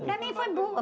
Para mim foi boa.